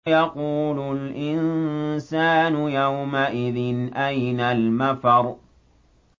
يَقُولُ الْإِنسَانُ يَوْمَئِذٍ أَيْنَ الْمَفَرُّ